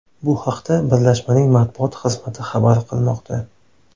Bu haqda birlashmaning matbuot xizmati xabar qilmoqda .